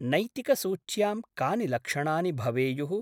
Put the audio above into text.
नैतिकसूच्यां कानि लक्षणानि भवेयुः?